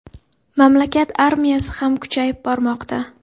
Mamlakat armiyasi ham kuchayib bormoqda.